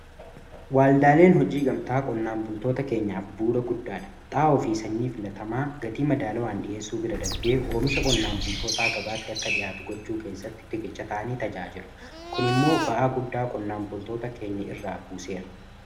Waaldaaleen hojii gamtaa qonnaan bultoota keenyaaf bu'uua guddaa dha xaa'oo fi sanyii filatamaa gatii madaalawaan dhiheessuu bira darbee oomisha qonnaan bultootaa gabaatti akka dhihaatu gochuu keessatti riqicha ta'anii tajaajilu. Kun immoo ba'aa guddaa qonnaan bultoota keenya irraa buuseera.